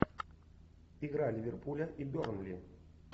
игра ливерпуля и бернли